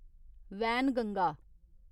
Wainganga